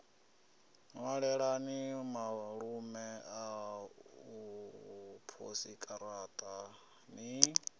ṅwalelani malume aṋu posikaraṱa ni